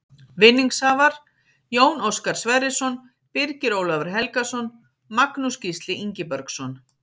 Vinningshafar: Jón Óskar Sverrisson Birgir Ólafur Helgason Magnús Gísli Ingibergsson